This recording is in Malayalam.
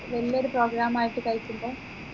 വെല്ലൊരു program ആയിട്ട് കഴിക്കുമ്പോ